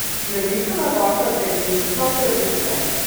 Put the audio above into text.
Velika napaka delivca pravice.